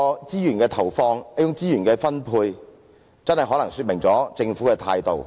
如此投放及分配資源，可能真真說明了政府的態度。